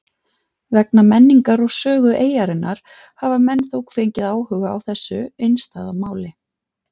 Vegna menningar og sögu eyjarinnar hafa menn þó fengið áhuga á þessu einstæða máli.